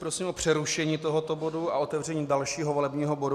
Prosím o přerušení tohoto bodu a otevření dalšího volebního bodu.